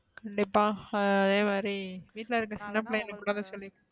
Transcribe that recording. கண்டிப்பா அதேமாரி விட்டுல இருக்குற சின்ன பிள்ளைங்களுக்கு